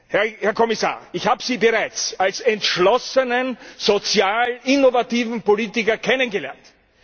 Herr Kommissar, ich habe Sie bereits als entschlossenen, sozial innovativen Politiker kennengelernt.